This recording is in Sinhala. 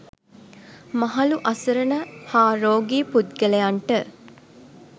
මහලු අසරණ හා රෝගී පුද්ගලයන්ට